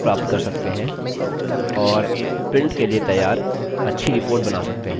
printer के लिए तैयार अच्छी reports बना सकते हैं